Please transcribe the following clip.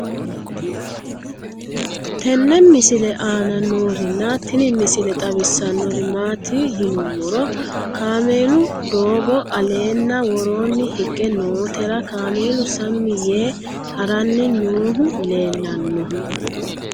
tenne misile aana noorina tini misile xawissannori maati yinummoro kaammelu doggo alenna woroonni higge noottera kaammelu sammi yee haranni noohu leellanno